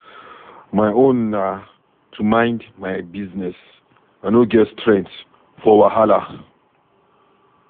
My own na to mind my business. I no get strength for wahala.